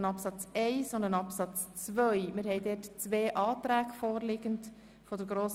Sie befindet sich dort noch in Abklärung.